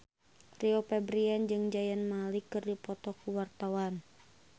Rio Febrian jeung Zayn Malik keur dipoto ku wartawan